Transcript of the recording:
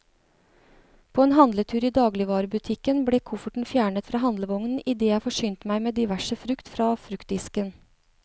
På en handletur i dagligvarebutikken ble kofferten fjernet fra handlevognen idet jeg forsynte meg med diverse frukt fra fruktdisken.